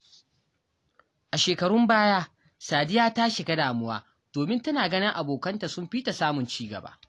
A shekarun baya, Sadiya ta shiga damuwa domin tana ganin abokanta sun fi ta samun ci gaba.